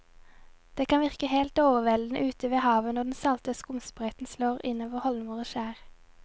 Det kan virke helt overveldende ute ved havet når den salte skumsprøyten slår innover holmer og skjær.